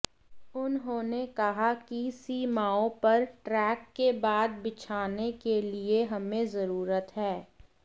उन्होंने कहा कि सीमाओं पर ट्रैक के बाद बिछाने के लिए हमें जरूरत है